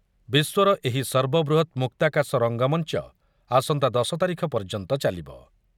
ବିଶ୍ୱର ଏହି ସର୍ବବୃହତ ମୁକ୍ତାକାଶ ରଙ୍ଗମଞ୍ଚ ଆସନ୍ତା ଦଶ ତାରିଖ ପର୍ଯ୍ୟନ୍ତ ଚାଲିବ ।